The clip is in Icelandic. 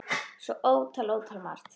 Svo ótal, ótal margt.